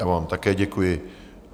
Já vám také děkuji.